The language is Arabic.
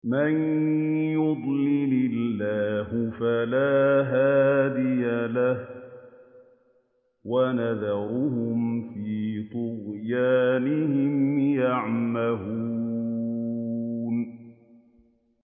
مَن يُضْلِلِ اللَّهُ فَلَا هَادِيَ لَهُ ۚ وَيَذَرُهُمْ فِي طُغْيَانِهِمْ يَعْمَهُونَ